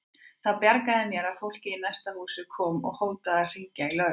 Það bjargaði mér að fólkið í næsta húsi kom og hótaði að hringja í lögregluna.